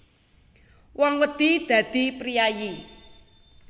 Wong wedi dadi priyayi